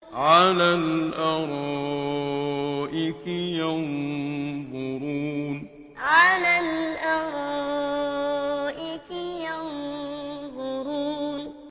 عَلَى الْأَرَائِكِ يَنظُرُونَ عَلَى الْأَرَائِكِ يَنظُرُونَ